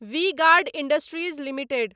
V Guard Industries limited